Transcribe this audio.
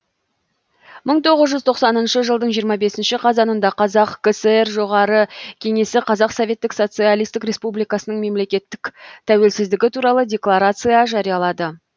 мың тоғыз жүз тоқсаныншы жылдың жиырма бесінші қазанында қазақ кср жоғары кеңесі қазақ советтік социалистік республикасының мемлекеттік тәуелсіздігі туралы декларация жариялады